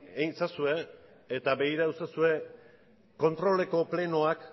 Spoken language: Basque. egin ezazue eta begiratu ezazue kontroleko plenoak